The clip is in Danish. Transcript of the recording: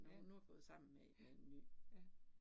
Ja, ja, ja